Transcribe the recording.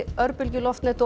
örbylgjuloftnet og